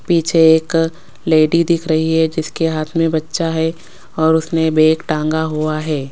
पीछे एक लेडी दिख रही है जिसके हाथ में बच्चा है और उसने बैग टांगा हुआ है।